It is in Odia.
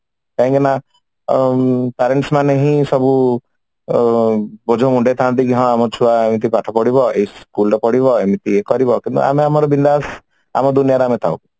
କାହିଁ କି ନା ଅ ଉଁ କହିକି ନା parents ମାନେ ହିଁ ସବୁ ବୋଝ ମୁଣ୍ଡେଇ ଥାନ୍ତି କି ହଁ ଆମ ଛୁଆ ଏମିତି ପାଠ ପଢିବ ଏଇ school ରେ ପଢିବ ଏମିତି ଇଏ କରିବ କିନ୍ତୁ ଆମେ ଆମର ବିନ୍ଦାସ ଆମ ଦୁନିଆରେ ଆମେ ଥାଉ